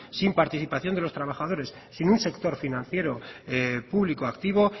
sin participación de los trabajadores sin un sector financiero público activo